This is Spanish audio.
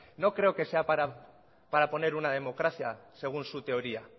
no creo que sea para poner una democracia según su teoría